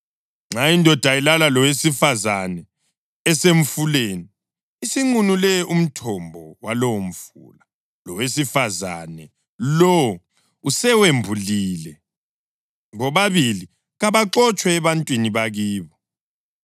Nxa indoda ilala lowesifazane esemfuleni, isinqunule umthombo walowomfula, lowesifazane lowo usewembulile. Bobabili kabaxotshwe ebantwini bakibo.